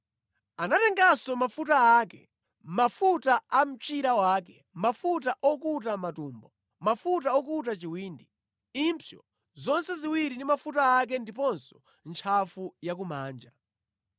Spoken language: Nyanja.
Anatenganso mafuta ake, mafuta a ku mchira wake, mafuta okuta matumbo, mafuta okuta chiwindi, impsyo zonse ziwiri ndi mafuta ake ndiponso ntchafu yakumanja.